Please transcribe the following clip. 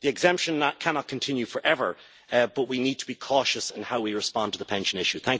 The exemption cannot continue forever but we need to be cautious in how we respond to the pension issue.